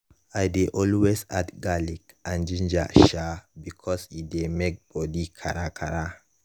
i dey always add garlic and ginger um because e dey make body kakara.